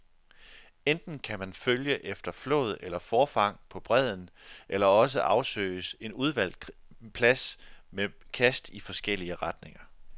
Enten kan man følge efter flåd eller forfang på bredden, eller også afsøges en udvalgt plads med kast i forskellige retninger.